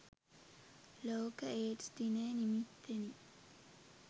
ලෝක ඒඞ්ස් දිනය නිමිත්තෙනි.